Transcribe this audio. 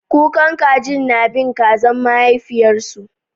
Kukan kajin na bin kaza mahaifiyarsu